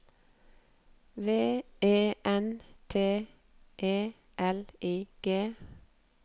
V E N T E L I G